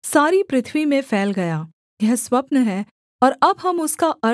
यह स्वप्न है और अब हम उसका अर्थ राजा को समझा देते हैं